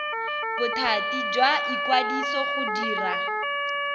bothati jwa ikwadiso go dira